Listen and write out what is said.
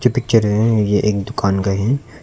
Picture है यह एक दुकान का है।